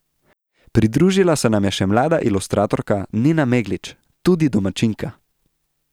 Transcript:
Pridružila se nam je še mlada ilustratorka Nina Meglič, tudi domačinka.